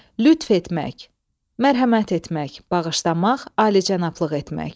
Lütf etmək, mərhəmət etmək, bağışlamaq, alicənablıq etmək.